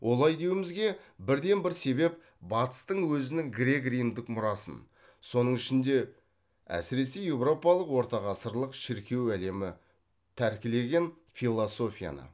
олай деуімізге бірден бір себеп батыстың өзінің грек римдік мұрасын соның ішінде әсіресе еуропалық ортағасырлық шіркеу әлемі тәркілеген философияны